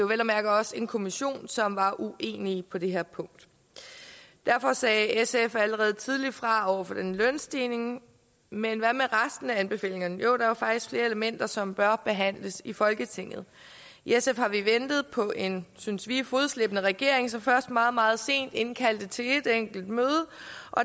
vel og mærke også en kommission som var uenige på det her punkt derfor sagde sf allerede tidligt fra over for den lønstigning men hvad med resten af anbefalingerne jo der er faktisk flere elementer som bør behandles i folketinget i sf har vi ventet på en synes vi fodslæbende regering som først meget meget sent indkaldte til et enkelt møde